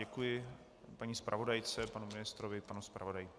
Děkuji paní zpravodajce, panu ministrovi, panu zpravodaji.